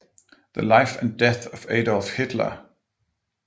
The life and death of Adolph Hitler